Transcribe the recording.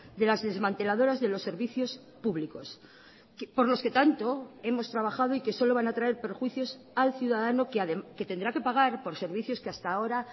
de las desmanteladoras de los servicios públicos por los que tanto hemos trabajado y que solo van a traer perjuicios al ciudadano que tendrá que pagar por servicios que hasta ahora